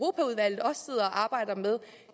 arbejder med